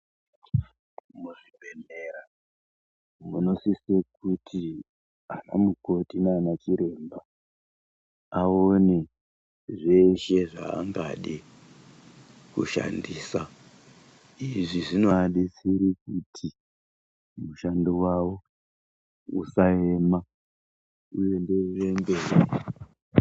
Muzvibhedhlera munosise kuti anamukoti nanachiremba aone zveshe zvaangade kushandisa. Izvi zvinobetsera kuti mushando wavo usaema, uenderere mberi..